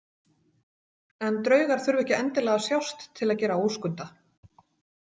En draugar þurfa ekki endilega að sjást til að gera óskunda.